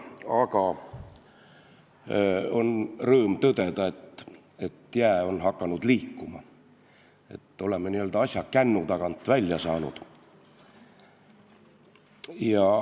Aga on rõõm tõdeda, et jää on hakanud liikuma ja oleme asja n-ö kännu tagant välja saanud.